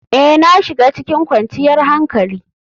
Ee, na shiga cikin kwanciyar hankali.